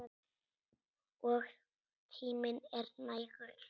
Og tíminn er nægur.